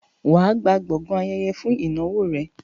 wà á gba gbọgán ayẹyẹ fún ìnáwó rẹ.